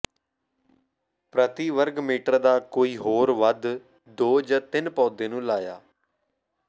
ਪ੍ਰਤੀ ਵਰਗ ਮੀਟਰ ਦਾ ਕੋਈ ਹੋਰ ਵੱਧ ਦੋ ਜ ਤਿੰਨ ਪੌਦੇ ਨੂੰ ਲਾਇਆ